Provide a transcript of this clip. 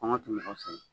Kɔngɔ tɛ mɔgɔ sɛgɛn